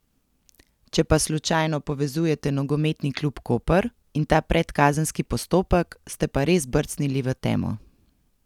Če pa slučajno povezujete nogometni klub Koper in ta predkazenski postopek, ste pa res brcnili v temo.